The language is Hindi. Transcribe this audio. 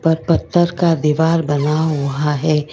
और पत्थर का दीवार बना हुआ हैं।